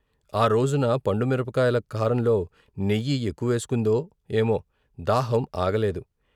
ఆ రోజున పండుమిరపకాయల కారంలో నెయ్యి ఎక్కు వేసుకుందో ఏమో దాహం ఆగలేదు.